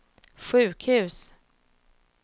sjukhus